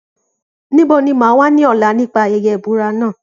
Níbo ni mà á wà ní ọ̀la nípa ayẹyẹ ìbúra náà?